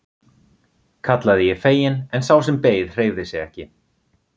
kallaði ég fegin en sá sem beið hreyfði sig ekki.